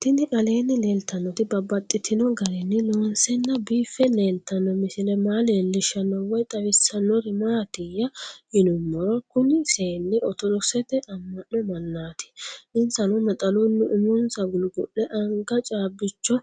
Tinni aleenni leelittannotti babaxxittinno garinni loonseenna biiffe leelittanno misile maa leelishshanno woy xawisannori maattiya yinummoro kunni seenni orttodokisette ama'no mannaatti. Insanno naxalunni umonsa gugu'le, anga caabbichcho